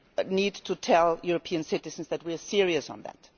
We need to tell European citizens that we are serious about that.